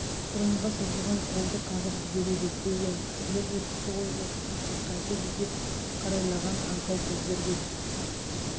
құранға созылған қолды қағып жібереді деген кісілер өтіпті ғой оқып көрсек қайтеді деп қарайлаған аңқау көздерге